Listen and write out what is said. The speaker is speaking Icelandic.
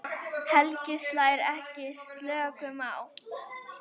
Helgi slær ekki slöku við.